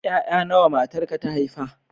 Ƴaƴa nawa matarka ta haifa?